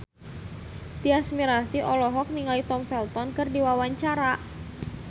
Tyas Mirasih olohok ningali Tom Felton keur diwawancara